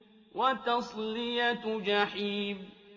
وَتَصْلِيَةُ جَحِيمٍ